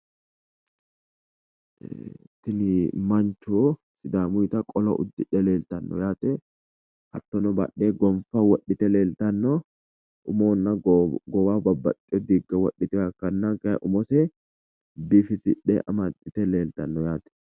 Tini mancho sidaamuyita qolo uddidhe leeltanno yaate hattono badhee gonfa wodhite leeltanno umohonna goowaho babbaxiyo diigga wodhiteyoha ikkanna kayi umose biifisidhe amaxxite leeltanno yaate.